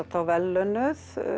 þá verðlaunaðir